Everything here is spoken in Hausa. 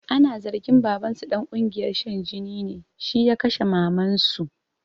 Ana zargin babansu ɗan ƙungiyar shan jini ne, shi ya kashe mamansu